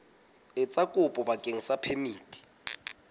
etsa kopo bakeng sa phemiti